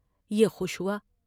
یہ خوش ہوا ۔